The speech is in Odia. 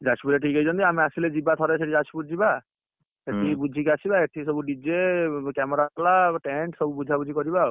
ଯାଜପୁର ରେ ଠିକ ହେଇଛନ୍ତି ଆମେ ଆସିଲେ ଯିବା ଥରେ ସେଇଠି ଯାଜପୁର ଯିବା ସେଇଠିକି ବୁଝିକିଆସିବା ଏଇଠି ସବୁ dj camera ବାଲା tend ସବୁ ବୁଝା ବୁଝି କରିବା ଆଉ